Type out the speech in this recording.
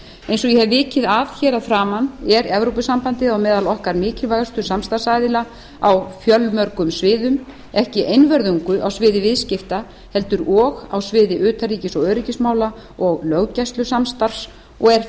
eins og ég hef vikið að hér að framan er evópusambandið á meðal okkar mikilvægustu samstarfsaðila á fjölmörgum sviðum ekki einvörðungu á sviði viðskipta heldur og á sviði utanríkis og öryggismála og löggæslusamstarfs og er